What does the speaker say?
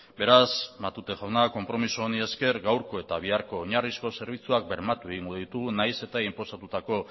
beraz matute jauna konpromiso honi esker gaurko eta biharko oinarrizko zerbitzuak bermatu egingo ditugu nahiz eta inposatutako